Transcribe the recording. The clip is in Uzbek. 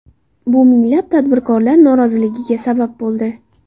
Bu minglab tadbirkorlar noroziligiga sabab bo‘ldi.